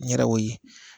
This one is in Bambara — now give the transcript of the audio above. N yɛrɛ o ye